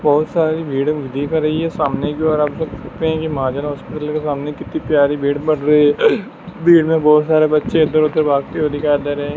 बहुत सारी भीड़ दिख रही है सामने जो है मवाजन अस्पताल के सामने कितनी प्यारी भीड़ बढ़ रही है भीड़ में बहुत सारे बच्चे इधर उधर भागते हुए दिखाई दे रहे हैं।